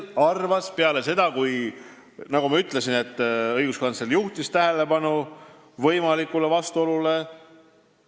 Nagu ma ütlesin, õiguskantsler juhtis tähelepanu võimalikule vastuolule.